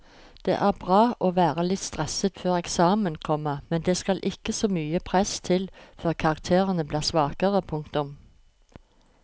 Det er bra å være litt stresset før eksamen, komma men det skal ikke så mye press til før karakterene blir svakere. punktum